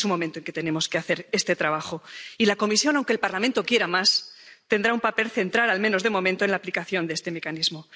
Este es un momento en que tenemos que hacer este trabajo y la Comisión, aunque el Parlamento quiera más, tendrá un papel central, al menos de momento, en la aplicación de este mecanismo.